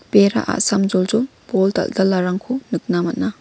bera a·samjoljol bol dal·dalarangko nikna man·a.